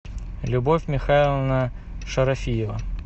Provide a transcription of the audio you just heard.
любовь михайловна шарафиева